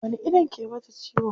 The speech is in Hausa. Wani ido ke mata ciwon?